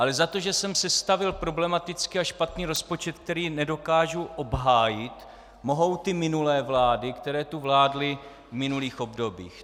Ale za to, že jsem sestavil problematický a špatný rozpočet, který nedokážu obhájit, mohou ty minulé vlády, které tu vládly v minulých obdobích.